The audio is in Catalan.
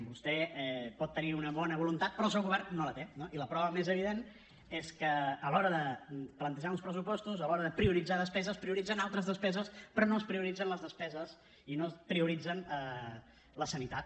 vostè pot tenir una bona voluntat però el seu govern no la té no i la prova més evident és que a l’hora de plantejar uns pressupostos a l’hora de prioritzar despeses prioritzen altres despeses però no es prioritzen les despeses i no es prioritza la sanitat